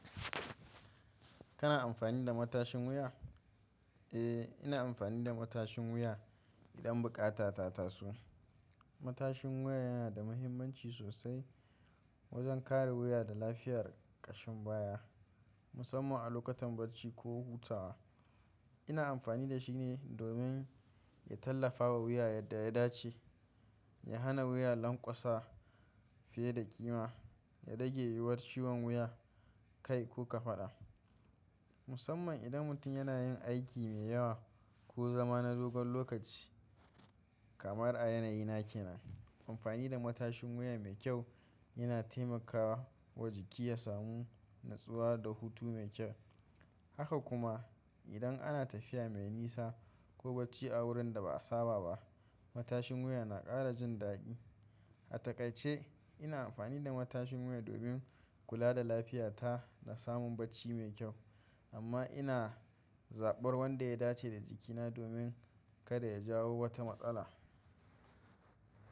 Kana amfani da matashin wuya? Eh, ina amfani da matashin wuya idan buƙata ta taso. Matashin wuya yana da mahimmanci sosai wajen kare wuya da lafiyar ƙashin baya, musamman a lokutan barci ko hutawa. Ina amfani da shi ne domin ya tallafawa wuya yadda ya dace, ya hana wuya lanƙwasa fiye da kima, ya rage yiwuwar ciwon wuya, kai ko kafaɗa. Musamman idan mutum yana yin aiki mai yawa ko zama na dogon lokaci kamar a yanayi na ke nan, amfani da matashin wuya mai kyau yana taimakawa wa jiki ya samu natsuwa da hutu mai kyau. Haka kuma, idan ana tafiya mai nisa ko barci a wurin da ba a saba ba, matashin wuya na ƙara jin daɗi. A taƙaice, ina amfani da matashin wuya domin kula da lafiyata da samun bacci mai kyau, amma ina zaɓar wanda ya dace da jikina domin kada ya jawo wata matsala.